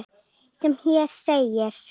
sem hér segir